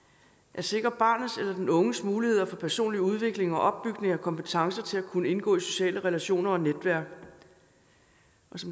at sikre barnets eller den unges muligheder for personlig udvikling og opbygning af kompetencer til at kunne indgå i sociale relationer og netværk